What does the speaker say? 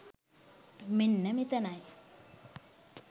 මෙන්න මෙතනයි.